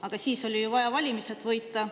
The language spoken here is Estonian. Aga siis oli ju vaja valimised võita.